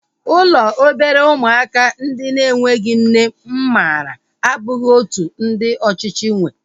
Ụlọ obere ụmụaka ndị na-enweghị nne mụ maara abụghị otú ndị ọchịchị nwee